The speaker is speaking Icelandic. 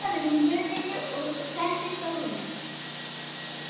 Það var nú líka það sem Dísa sá við hann.